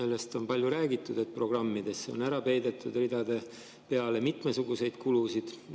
Sellest on palju räägitud, et programmidesse on ära peidetud ridade peale mitmesuguseid kulusid.